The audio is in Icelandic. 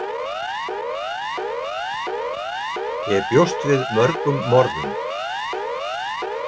Ég bjóst við mörgum morðum.